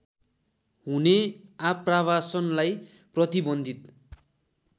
हुने आप्रवासनलाई प्रतिबन्धित